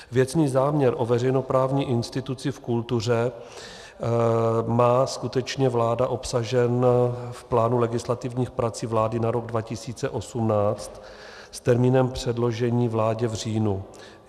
Věcný záměr o veřejnoprávní instituci v kultuře má skutečně vláda obsažen v plánu legislativních prací vlády na rok 2018 s termínem předložení vládě v říjnu.